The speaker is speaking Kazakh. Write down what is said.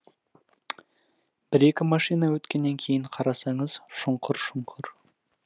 бір екі машина өткеннен кейін қарасаңыз шұңқыр шұңқыр